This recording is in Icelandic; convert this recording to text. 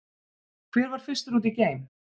Hver var fyrstur út í geim?